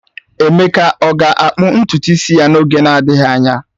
Emeka ọ ga-akpa ntutu isi ya n'oge na-adịghị anya?